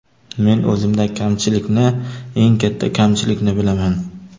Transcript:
Men o‘zimdagi kamchilikni, eng katta kamchilikni bilaman.